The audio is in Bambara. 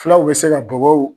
Fulaw bɛ se ka bɔbɔw